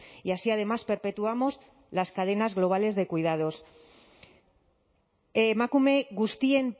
y así además perpetuamos las cadenas globales de cuidados emakume guztien